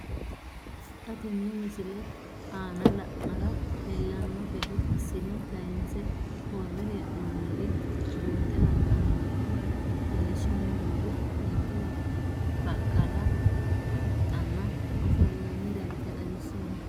Xa tenne missile aana la'nara leellanno gede assine kayiinse worre hee'noonniri buunxe la'nanni woyiite leellishshanni noori ninkera baqqala huxxanna ofollinanni darga xawissanno.